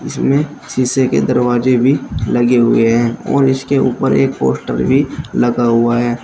इसमें शीशे के दरवाजे भी लगे हुए हैं और इसके ऊपर एक पोस्टर भी लगा हुआ है।